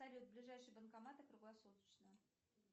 салют ближайшие банкоматы круглосуточно